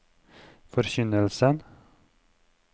forkynnelsen